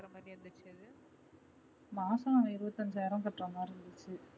மாசம் இருபத்து ஐந்தாயிரம் கட்டுறமாதிரி இருந்துச்சு